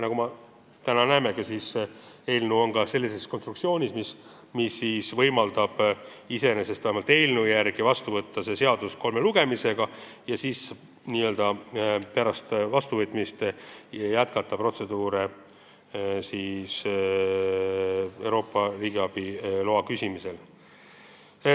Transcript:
Nagu me täna näeme, on eelnõu sellise konstruktsiooniga, et seda on võimalik iseenesest kolme lugemisega seadusena vastu võtta ja pärast vastuvõtmist jätkata protseduure, et Euroopast riigiabiluba küsida.